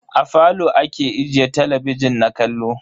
A falo ake ajiye talabijin na kallo.